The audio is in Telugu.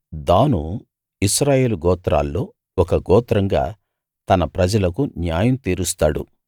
దాను ఇశ్రాయేలు గోత్రాల్లో ఒక గోత్రంగా తన ప్రజలకు న్యాయం తీరుస్తాడు